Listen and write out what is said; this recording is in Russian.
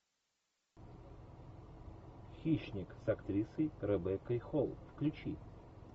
хищник с актрисой ребеккой холл включи